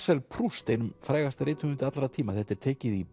Marcel Proust einum frægasta rithöfundi allra tíma þetta er tekið í